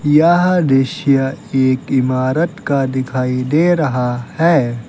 यह दृश्य एक इमारत का दिखाई दे रहा है।